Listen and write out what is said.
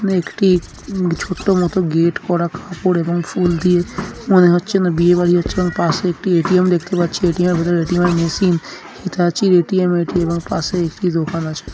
একটি ছোট্ট মতো গেট করা কাপড় এবং ফুল দিয়ে মনে হচ্ছে যেন বিয়ে বাড়ি হচ্ছে পাশে একটি এ.টি.এম. দেখতে পাচ্ছি এ.টি.এম. এর ভেতরে এ.টি.এম. Machine ATM. এটি এবং পশে একটি দোকান আছে।